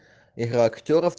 игра актёров